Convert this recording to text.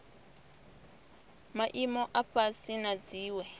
maimo a fhasi na dziwe